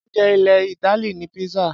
Oúnjẹ ilẹ̀ Ítálì ni pizza.